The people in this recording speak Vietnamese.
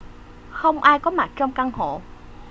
không ai có mặt trong căn hộ